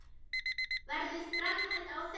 Verður framhald á þeim?